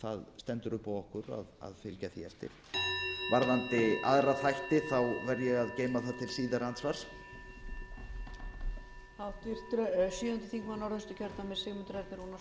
það stendur upp á okkur að fylgja því eftir varðandi aðra þætti verð ég að geyma það til síðara andsvars